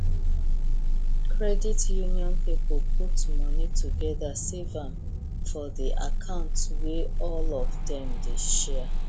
credit union people put money together save am for the account wey all of them they share